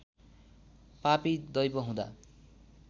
पापी दैव हुँदा